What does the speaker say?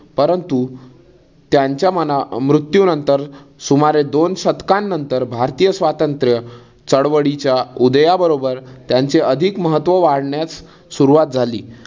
परंतु त्यांच्या मना मृत्यूनंतर सुमारे दोन शतकानंतर भारतीय स्वातंत्र्य चळवळीच्या उदया बरोबर त्यांचे अधिक महत्व वाढण्यास सुरुवात झाली.